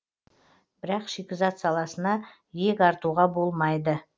бірақ шикізат саласына иек артуға болмайды